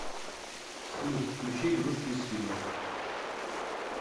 салют включи игрушки из фильмов